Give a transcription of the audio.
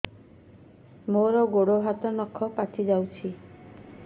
ମୋର ଗୋଡ଼ ହାତ ନଖ ପାଚି ଯାଉଛି